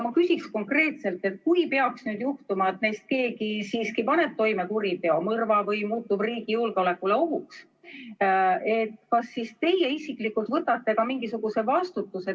Ma küsin konkreetselt: kui peaks juhtuma nii, et keegi neist siiski paneb toime kuriteo, näiteks mõrva, või muutub riigi julgeolekule ohuks, siis kas teie isiklikult võtate mingisuguse vastutuse?